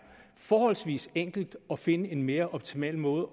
forholdsvis enkelt at finde en mere optimal måde